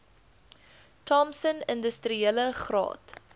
thompson industriele graad